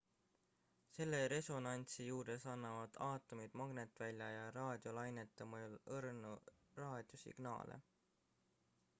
selle resonantsi juures annavad aatomid magnetvälja ja raadiolainete mõjul õrnu raadiosignaale